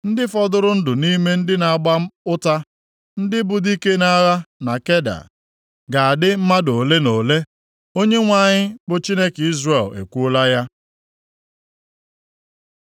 Ndị fọdụrụ ndụ nʼime ndị na-agba ụta, ndị bụ dike nʼagha na Keda, ga-adị mmadụ ole na ole.” Onyenwe anyị, bụ Chineke Izrel ekwuola ya.